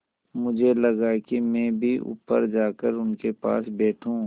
मुझे लगा कि मैं भी ऊपर जाकर उनके पास बैठूँ